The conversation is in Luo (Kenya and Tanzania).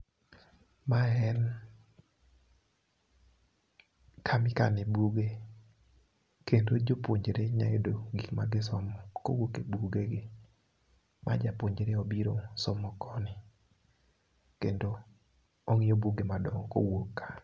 Mae en kamikane buge. Kendo jopuonjre nya yudo gik ma gisomo, kowuok e bugegi, ma japuonjre obiro somo koni. Kendo ong'iyo buge madongo kowuok ka.